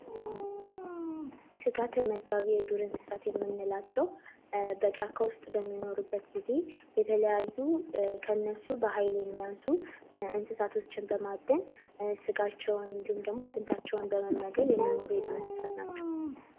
ስጋ ተመጋቢ የዱር እንስሳት የምንላቸው በጫካ ውስጥ በሚኖሩበት ጊዜ የተለያዩ ከእነሱ በሃይል የሚያንሱን እሳቶችን በማዳን ጋቸውን እንዲሁም ደግሞ አጥንታቸውን በመመገብ የሚኖሩ የዱር እንስሳቶች ናቸው።